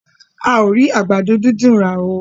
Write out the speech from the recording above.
A o ri àgbàdo dídùn rà oo.